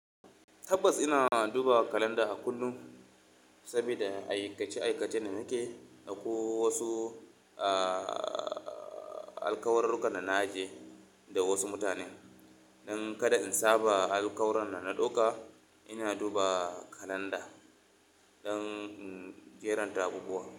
Tabbas ina duba kalanda a kullum saboda aikace-aikace da nake da ko wasu, alkawururruka da na ajiye da wasu mutane. Dan kada in saba alkawaran da na ɗauka, ina duba kalanda don in jeranta abubuwa.